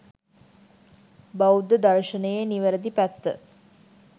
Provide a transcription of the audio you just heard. බෞද්ධ දර්ශනයේ නිවැරදි පැත්ත